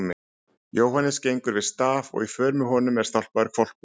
Jóhannes gengur við staf og í för með honum er stálpaður hvolpur.